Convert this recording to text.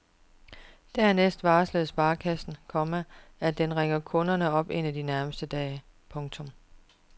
Dernæst varsler sparekassen, komma at den ringer kunden op en af de nærmeste dage. punktum